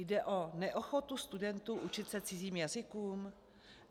Jde o neochotu studentů učit se cizím jazykům?